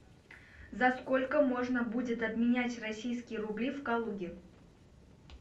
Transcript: за сколько можно будет обменять российские рубли в калуге